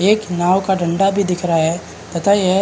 एक नाव का डंडा भी दिख रहा है तथा यह --